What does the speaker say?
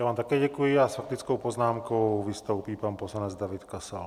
Já vám také děkuji a s faktickou poznámkou vystoupí pan poslanec David Kasal.